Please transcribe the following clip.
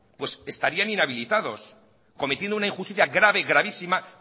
estarían inhabilitados cometiendo una injusticia grave gravísima